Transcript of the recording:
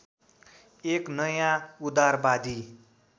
एक नयाँ उदारवादी